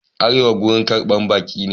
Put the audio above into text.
Arewa wurin karɓar baki ne.